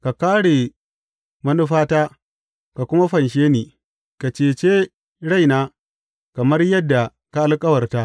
Ka kāre manufata ka kuma fanshe ni, ka cece rai na kamar yadda ka alkawarta!